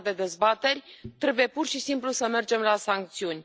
În afară de dezbateri trebuie pur și simplu să mergem la sancțiuni.